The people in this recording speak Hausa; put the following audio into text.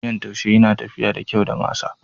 Miyan taushe yana tafiya da kyau da masa.